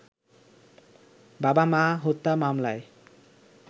বাবা-মা হত্যা মামলায়